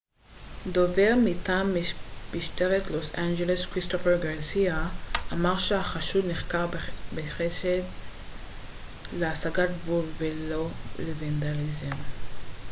דובר מטעם משטרת לוס אנג'לס כריסטופר גרסיה אמר שהחשוד נחקר בחשד להסגת גבול ולא לוונדליזם